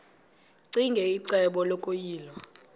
ccinge icebo lokuyilwa